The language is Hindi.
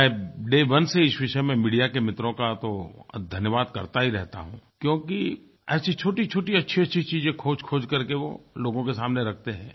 मैं डे ओने से इस विषय में मीडिया के मित्रों का तो धन्यवाद करता ही रहता हूँ क्योंकि ऐसी छोटीछोटी अच्छीअच्छी चीजें खोजखोज करके वो लोगों के सामने रखते हैं